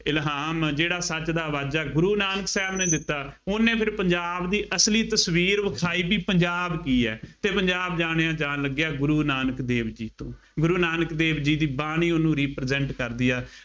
ਇਲਹਾਮ ਜਿਹੜਾ ਸੱਚ ਦਾ ਵਾਜਾ, ਗੁਰੂ ਨਾਨਕ ਸਾਹਿਬ ਨੇ ਦਿੱਤਾ। ਉਹਨੇ ਫਿਰ ਪੰਜਾਬ ਦੀ ਅਸਲੀ ਤਸਵੀਰ ਵਿਖਾਈ ਬਈ ਪੰਜਾਬ ਕੀ ਹੈ ਫੇਰ ਪੰਜਾਬ ਜਾਣਿਆਂ ਜਾਣ ਲੱਗਿਆਂ ਗੁਰੂ ਨਾਨਕ ਦੇਵ ਜੀ ਤੋਂ, ਗੁਰੂ ਨਾਨਕ ਦੇਵ ਜੀ ਦੀ ਬਾਣੀ ਉਹਨੂੰ represent ਕਰਦੀ ਆ,